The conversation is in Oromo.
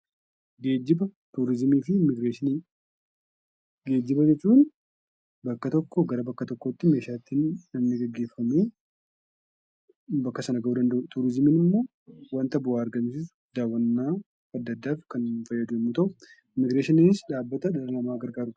Geejjiba jechuun bakka tokkoo gara bakka biraatti meeshaalee ittiin geggeeffamu bakka sana gahuu danda'u; turizimiin immoo daawwannaa adda addaaf kan fayyadu yoo ta'u, immiigireeshiniinis dhaabbata ilma namaa gargaarudha.